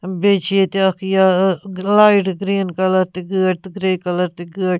بیٚیہِ چھ ییٚتہِ اکھ یا لایٹ گریٖن کلر تہِ گٲڑۍ تہٕ گرے کلر تہِ گٲڑۍ